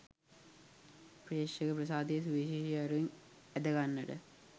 ප්‍රේක්ෂක ප්‍රසාදය සුවිශේෂී අයුරින් ඇද ගන්නට